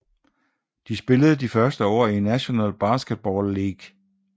De spillede de første år i National Basketball League